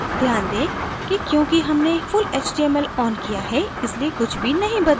ध्यान दें कि क्योंकि हमने full html on किया है इसलिए कुछ भी नहीं बदला है